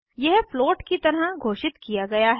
यह float float की तरह घोषित किया गया है